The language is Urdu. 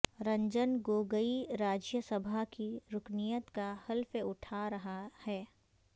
رنجن گوگئی راجیہ سبھا کی رکنیت کا حلف اٹھا رہے ہیں